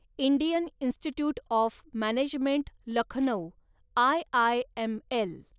Indian institute of management Lucknow, IIML